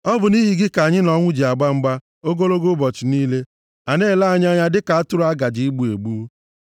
Ọ bụ nʼihi gị ka anyị na ọnwụ ji agba mgba, ogologo ụbọchị niile. A na-ele anyị anya dịka atụrụ a gaje igbu egbu.